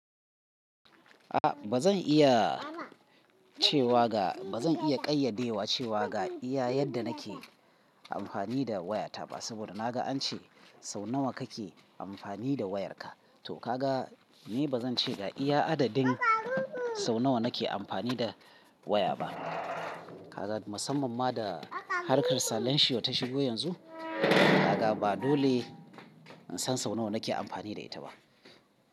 A ba zan iya cewa ga, ba zan iya ƙayyade wa cewa ga iya yadda nake amfani da waya ta ba. Saboda na ga an ce sau nawa kake amfani da wayarka, to ka ga ni ba zan ce ga iya adadin sau nawa nake amfani da waya ba. Ka ga, musamman ma da harkar salanshi ya tashigo yanzu, ka ga ba dole in san sau nawa nake amfani da ita ba.